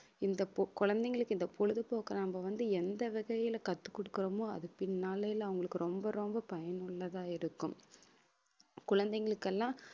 இந்த பொ~ குழந்தைங்களுக்கு இந்த பொழுதுபோக்கை நம்ம வந்து, எந்த வகையில கற்றுக் கொடுக்கிறோமோ அது பின்னால அவங்களுக்கு ரொம்ப ரொம்ப பயனுள்ளதா இருக்கும் குழந்தைகளுக்கு எல்லாம்